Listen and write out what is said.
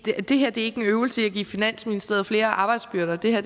her er ikke en øvelse i at give finansministeriet flere arbejdsbyrder det her